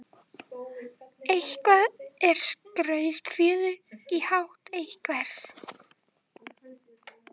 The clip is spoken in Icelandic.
Eitthvað er skrautfjöður í hatt einhvers